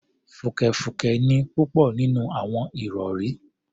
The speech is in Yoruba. Fùkẹ̀fùkẹ̀ ni púpọ̀ nínú àwọn ìrọ̀rí